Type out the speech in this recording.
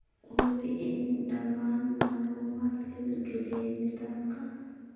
Hubi in dhammaan macluumaadka la geliyey nidaamka.